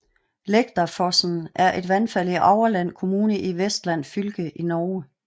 Lægdafossen er et vandfald i Aurland kommune i Vestland fylke i Norge